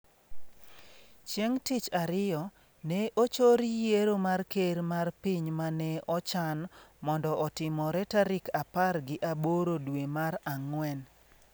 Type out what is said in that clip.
Chieng’ tich ariyo, ne ochor yiero mar Ker mar Piny mane ochan mondo otimore tarik apar gi aboro dwe mar Ang’wen.